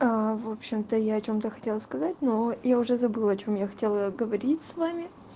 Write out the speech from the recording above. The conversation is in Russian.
в общем-то я о чём то хотела сказать но я уже забыла о чём я хотела говорить с вами